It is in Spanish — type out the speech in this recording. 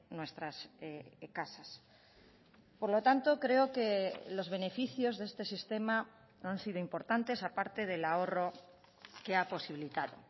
nuestras casas por lo tanto creo que los beneficios de este sistema han sido importantes aparte del ahorro que ha posibilitado